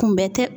Kunbɛ tɛ